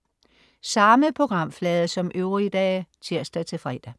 Samme programflade som øvrige dage (tirs-fre)